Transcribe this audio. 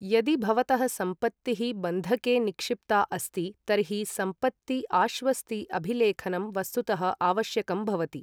यदि भवतः सम्पत्तिः बन्धके निक्षिप्ता अस्ति तर्हि सम्पत्ति आश्वस्ति अभिलेखनम् वस्तुतः आवश्यकं भवति।